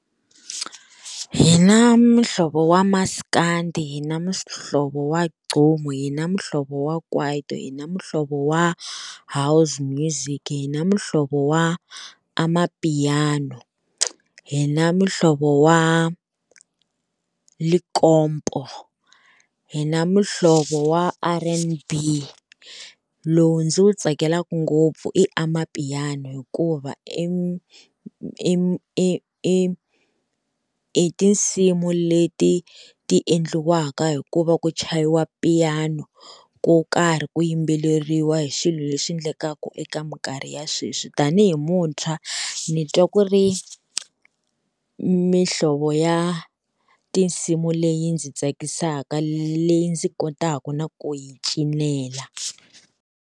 Hi na muhlovo wa Maskandi, hi na muhlovo wa Qqom, hi na muhlovo wa Kwaito hi na muhlovo wa House music hi na muhlovo wa Amapiano, hi na muhlovo wa Likompo, hi na muhlovo wa R_N_B. Lowu ndzi wu tsakelaka ngopfu i Amapiano, hikuva i tinsimu leti ti endliwaka hikuva ku chayiwa piano ku karhi ku yimbeleriwa hi swilo leswi endlekaka eka minkarhi ya sweswi. Tanihi muntshwa ni twa ku ri mihlovo ya tinsimu leyi ndzi tsakisaka leyi ndzi kotaka na ku yi cinela.